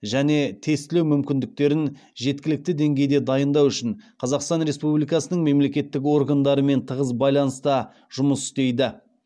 және тестілеу мүмкіндіктерін жеткілікті деңгейде дайындау үшін қазақстан республикасының мемлекеттік органдарымен тығыз байланыста жұмыс істейді